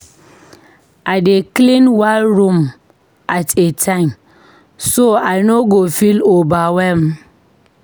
I dey clean one room at a time so I no go feel overwhelmed.